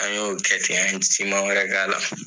An y'o kɛ ten, an ye siman wɛrɛ kɛ a la.